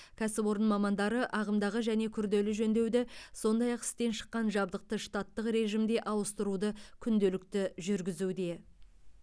кәсіпорын мамандары ағымдағы және күрделі жөндеуді сондай ақ істен шыққан жабдықты штаттық режимде ауыстыруды күнделікті жүргізуде